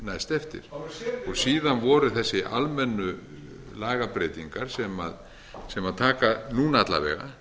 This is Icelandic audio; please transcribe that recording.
næst eftir síðan voru þessar almennu lagabreytingar sem taka núna alla vega